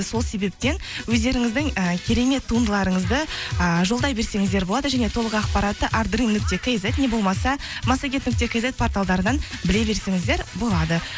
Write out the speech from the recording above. сол себептен өздеріңіздің і керемет туындыларыңызды ііі жолдай берсеңіздер болады және толық ақпаратты нүкте кизет не болмаса массагет нүкте кизет порталдарынан біле берсеңіздер болады